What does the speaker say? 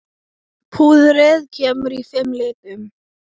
Púðrið kemur í fimm litum.